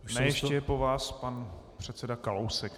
Ne, ještě je po vás pan předseda Kalousek.